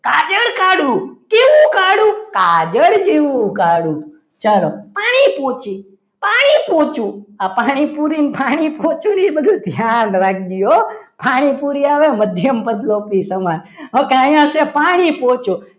કાજલ જેવું કાળું ચલો પાણી પોચી પાણીપુરી આ પાણીપુરી ને પાણી પોચું નું એ બધું ધ્યાન રાખજો હો પાણીપુરી આવે મધ્યમ પદ લોપી સમાસ અને અહીંયા છે પાણી પોચું